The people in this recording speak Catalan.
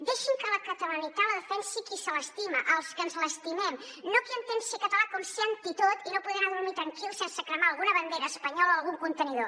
deixin que la catalanitat la defensi qui se l’estima els que ens l’estimem no qui entén ser català com ser antitot i no poder anar a dormir tranquil sense cremar alguna bandera espanyola o algun contenidor